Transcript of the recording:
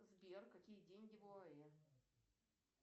сбер какие деньги в оаэ